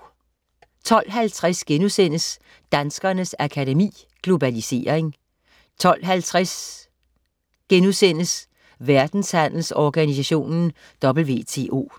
12.50 Danskernes Akademi. Globalisering* 12.50 Verdenshandelsorganisationen WTO*